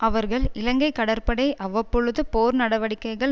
அவர்கள் இலங்கை கடற்படை அவ்வப்பொழுது போர் நடவடிக்கைகள்